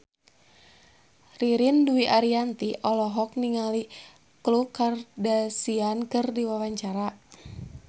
Ririn Dwi Ariyanti olohok ningali Khloe Kardashian keur diwawancara